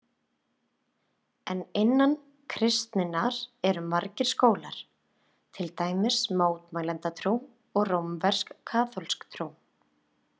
En innan kristninnar eru margir skólar, til dæmis mótmælendatrú og rómversk-kaþólsk trú.